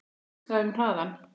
Hugsaðu um hraðann